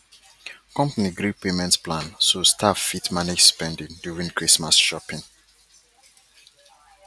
company gree payment plan so staff fit manage spending during christmas shopping